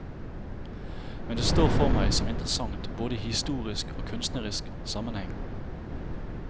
Men det står for meg som interessant både i historisk og kunstnerisk sammenheng.